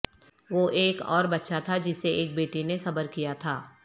وہ ایک اور بچہ تھا جسے ایک بیٹی نے صبر کیا تھا